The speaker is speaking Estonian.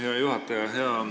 Hea juhataja!